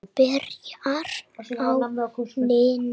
Byrjar á nýjum bikar.